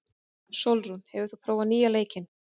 Sólrún, hefur þú prófað nýja leikinn?